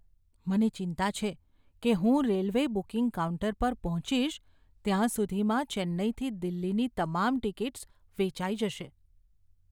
મને ચિંતા છે કે હું રેલવે બુકિંગ કાઉન્ટર પર પહોંચીશ ત્યાં સુધીમાં ચેન્નાઈથી દિલ્હીની તમામ ટિકિટ્સ વેચાઈ જશે.